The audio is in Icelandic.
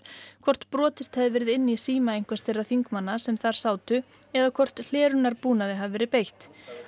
hvort brotist hefði verið inn í síma einhvers þeirra þingmanna sem þar sátu eða hvort hlerunarbúnaði hefði verið beitt